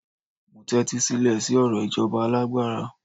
mo tẹtisilẹ si ọrọ ijoba alágbára